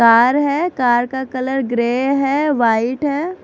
Car है car का colour grey है वाइट है।